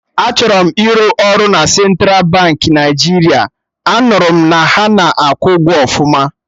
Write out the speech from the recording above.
Achọrọ m ịrụ ọrụ na Central Baankị Naijiria, a nụrụ m na ha na-akwụ ụgwọ ọfụma